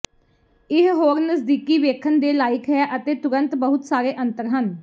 ਇਹ ਹੋਰ ਨਜ਼ਦੀਕੀ ਵੇਖਣ ਦੇ ਲਾਇਕ ਹੈ ਅਤੇ ਤੁਰੰਤ ਬਹੁਤ ਸਾਰੇ ਅੰਤਰ ਹਨ